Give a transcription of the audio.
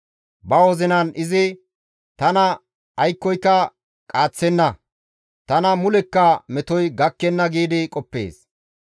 Ba wozinan izi, «Tana aykkoyka qaaththenna; tana mulekka metoy gakkenna» giidi qoppees.